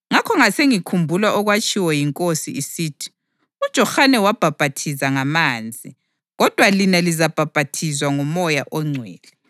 Ngakho ngasengikhumbula okwatshiwo yiNkosi isithi, ‘UJohane wabhaphathiza ngamanzi, kodwa lina lizabhaphathizwa ngoMoya oNgcwele.’